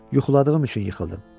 Yuxuladığım üçün yıxıldım.